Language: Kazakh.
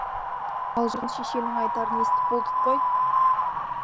алжыған шешенің айтарын естіп болдық қой